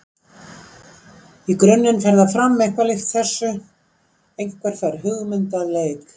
Í grunninn fer það fram eitthvað líkt þessu: Einhver fær hugmynd að leik.